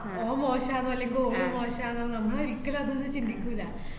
ആഹ് ഓന്‍ മോശാന്ന് അല്ലെങ്കി ഓള് മോശാന്ന് നമ്മൾ ഒരിക്കലും അതൊന്നും ചിന്തിക്കൂല്ല.